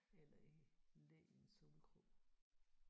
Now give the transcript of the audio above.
Eller ikke. Læ i en solkrog